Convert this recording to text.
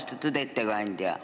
Austatud ettekandja!